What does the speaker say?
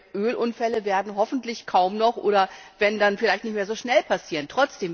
solche Ölunfälle werden hoffentlich kaum noch oder wenn, dann vielleicht nicht mehr so schnell passieren.